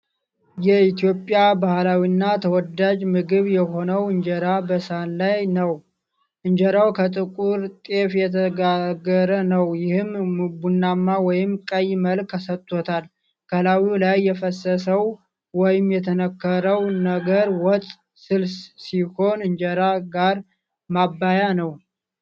የኢትዮጵያ ባህላዊና ተወዳጅ ምግብ የሆነውን እንጀራ በሳህን ላይ ነው። እንጀራው ከጥቁር ጤፍ የተጋገረ ነው ይህም ቡናማ ወይም ቀይ መልክ ሰጥቶታል። ከላዩ ላይ የፈሰሰው ወይም የተነከረው ነገር ወጥ (ስልስ) ሲሆን እንጀራ ጋር ማበያ ነው።